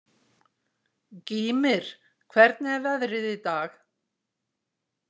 Gýmir, hvernig er veðrið í dag?